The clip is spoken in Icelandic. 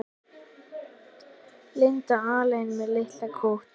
Linda alein með litla kút.